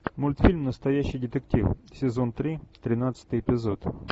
мультфильм настоящий детектив сезон три тринадцатый эпизод